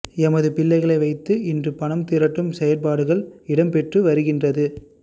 எமது பிள்ளைகளை வைத்து இன்று பணம் திரட்டும் செயற்பாடுகள் இடம்பெற்று வருகின்றது